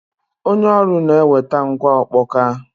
Onye ọrụ na-eweta ngwa ọkpọka.